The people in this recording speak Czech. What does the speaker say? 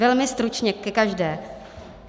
Velmi stručně ke každé.